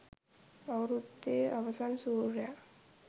අවුරුද්දේ අවසන් සුර්යා